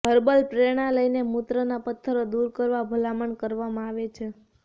herbal પ્રેરણા લઈને મૂત્રના પત્થરો દૂર કરવા ભલામણ કરવામાં આવે છે